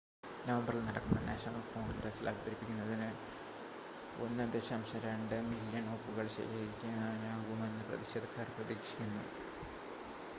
നവംബറിൽ നടക്കുന്ന നാഷണൽ കോൺഗ്രസ്സിൽ അവതരിപ്പിക്കുന്നതിന് 1.2 മില്ല്യൺ ഒപ്പുകൾ ശേഖരിക്കാനാകുമെന്ന് പ്രതിഷേധക്കാർ പ്രതീക്ഷിക്കുന്നു